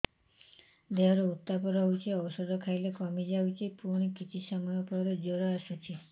ଦେହର ଉତ୍ତାପ ରହୁଛି ଔଷଧ ଖାଇଲେ କମିଯାଉଛି ପୁଣି କିଛି ସମୟ ପରେ ଜ୍ୱର ଆସୁଛି